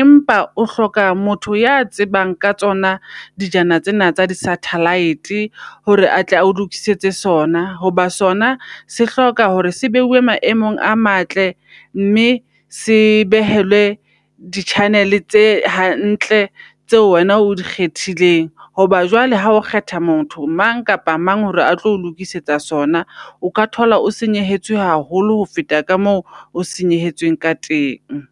Empa o hloka motho ya tsebang ka tsona dijana tsena tsa di -satellite hore atle a o lokisetse sona. Hoba sona se hloka hore se maemong a matle, mme se behelwe di -channel tse hantle tseo wena o di kgethileng. Hoba jwale ha o kgetha motho mang kapa mang hore a tlo o lokisetsa sona, O ka thola o senyehetswe haholo ho feta ka moo o senyehetsweng ka teng.